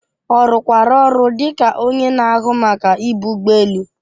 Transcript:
Ọ rụkwara ọrụ dị ka onye na-ahụ Maka ibu ụgbọ elu?